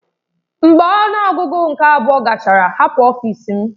Mgbe ọnụ ọgụgụ nke abụọ gachara hapụ ọfịs m!